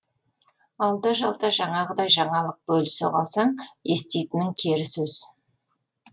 алда жалда жаңағыдай жаңалық бөлісе қалсаң еститінің кері сөз